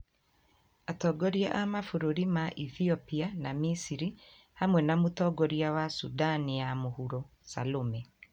Atongoria a mabũrũri ma Ethiopia na Misiri, hamwe na Mũtongoria wa Sudan ya Mũhuro Salome,